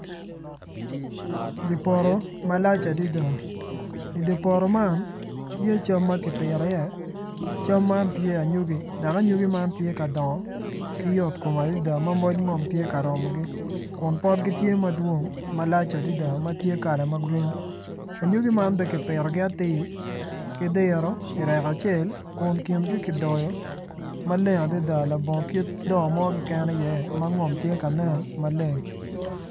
Dye poto malac adada idye poto man tye cam ma kipito iye cam man tye anyogi dok anyogi man tye ka dongo ki yotkom adada ma moc ngom tye ka romogi kun potgi tye madwong malac adada ma gitye kala ma grin anyogi man bene kipitogi atir ki diro irek acel kun kingi kidoyo ma leng adada labongo kit do mo keken iye ma ngom tye ka nen maleng.